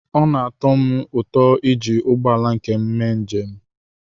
Ọ na-atọ m ụtọ iji ụgbọ ala nke m mee njem.